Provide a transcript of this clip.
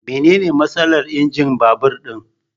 Mene ne matsalar injin babur din?